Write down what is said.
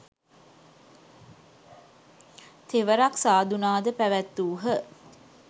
තෙවරක් සාධුනාද පැවැත්වූහ.